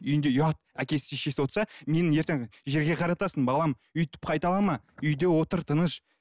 үйінде ұят әкесі шешесі отырса мені ертең жерге қаратасың балам өйтіп қайталама үйде отыр тыныш